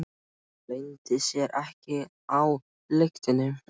Það leyndi sér ekki á lyktinni.